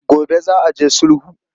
Gobe za a je sulhu.